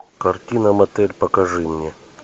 картина мотель покажи мне